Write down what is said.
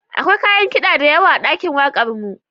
Akwai kayan kida da yawa a ɗakin wakarmu.